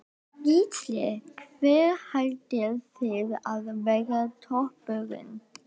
Gísli: Hver haldið þið að verði toppurinn?